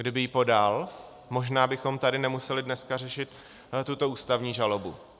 Kdyby ji podal, možná bychom tady nemuseli dneska řešit tuto ústavní žalobu.